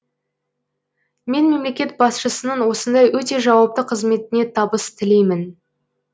мен мемлекет басшысының осындай өте жауапты қызметіне табыс тілеймін